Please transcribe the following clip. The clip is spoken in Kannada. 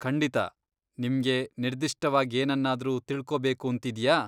ಖಂಡಿತ. ನಿಮ್ಗೆ ನಿರ್ದಿಷ್ಟವಾಗ್ ಏನನ್ನಾದರೂ ತಿಳ್ಕೋಬೇಕೂಂತಿದ್ಯಾ?